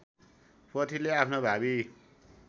पोथीले आफ्नो भावी